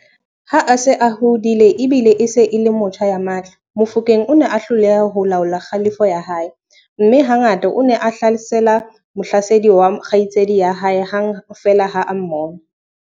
Ha a se a hodile e bile e se e le motjha ya matla, Mofokeng o ne a hloleha ho laola kgalefo ya hae, mme ha ngata o ne a hlasela mohlasedi wa kgaitsedi ya hae hang feela ha a mmona.